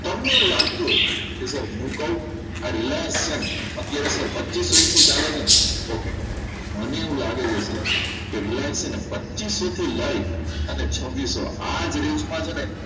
તમને એવું લાગતું હોય હું કહું આ Reliance છે ને અત્યારે તો પચીસોએસી ચાલે છે ને okay મને એવું લાગે છે sir કે Reliance છે ને પચીસો થી લઈ અને છબીસો આ જ આજ range માં છે ને